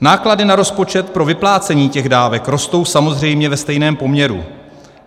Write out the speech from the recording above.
Náklady na rozpočet pro vyplácení těch dávek rostou samozřejmě ve stejném poměru.